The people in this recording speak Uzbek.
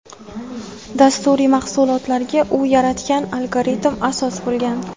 dasturiy mahsulotlarga u yaratgan algoritm asos bo‘lgan.